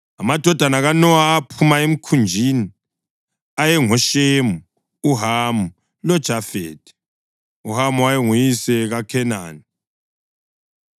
Amadodana kaNowa aphuma emkhunjini ayengoShemu, uHamu loJafethi. (UHamu wayenguyise kaKhenani.)